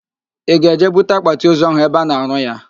Ị ga-eje bute akpatịozu ahụ ebe a na-arụ ya?